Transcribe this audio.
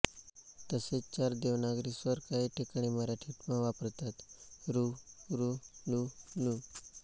तसेच चार देवनागरी स्वर काही ठिकाणी मराठीत पण वापरतात ऋ ॠ ऌ ॡ